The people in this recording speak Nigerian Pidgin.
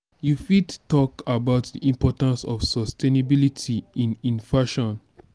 you fit talk about di importance of sustainability in in fashion?